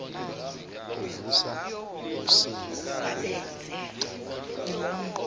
uvusa usinga lokucabanga